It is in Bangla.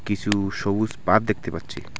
কিছু সবুজ পাত দেখতে পাচ্ছি .